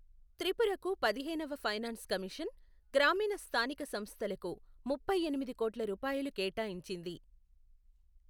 త్రిపురకు పదిహేనవ finance commission, గ్రామీణ స్థానిక సంస్థలకు ముప్పై ఎనిమిది కోట్ల రూపాయలు కేటాయించింది.